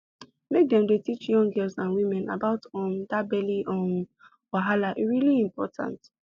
make dem dey teach young girls and women about um that belly um wahala e really important